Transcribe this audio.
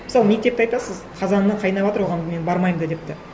мысалы мектепті айтасыз қазаны қайнаватыр оған мен бармаймын да деп де